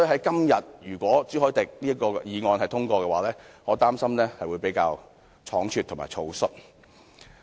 因此，如果朱凱廸議員這項議案今天獲得通過，我擔心會比較倉卒和草率。